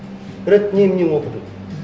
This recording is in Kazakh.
рэт нені не оқыдың